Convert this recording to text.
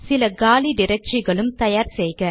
சில காலி டிரக்டரிகளும் தயார் செய்க